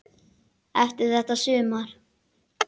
Eftir þetta sumar.